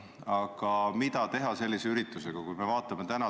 Aga mida teha sellise suure üritusega?